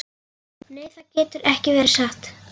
Nei, það getur ekki verið satt.